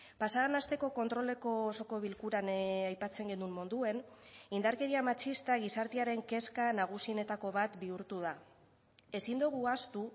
pasa den asteko kontroleko osoko bilkuran aipatzen genuen moduan indarkeria matxista gizartearen kezka nagusienetako bat bihurtu da ezin dugu ahaztu